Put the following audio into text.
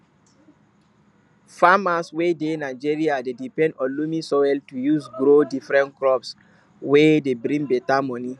farmers wey dey nigeria dey depend on loamy soil to use grow different crops wey de bring beta moni